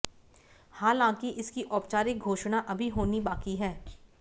हालांकि इसकी औपचारिक घोषड़ा अभी होनी बाकी है